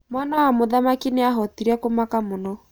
Mwana wa mũthamaki nĩa hotire kũmaka mũno.